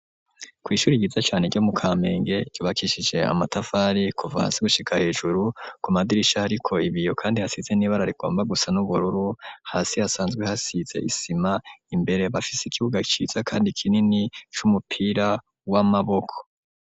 Kw'ishuri ryiza cane ryo mu Kamenge ryubakishije amatafari kuva hasi gushika hejuru, ku madirisha hariko ibiyo kandi hasize n'ibara rigomba gusa n'ubururu, hasi hasanzwe hasize isima ,imbere bafise ikibuga ciza kandi kinini c'umupira w'amaboko.